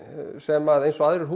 sem að eins og aðrir